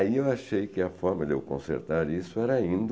Aí eu achei que a forma de eu consertar isso era indo.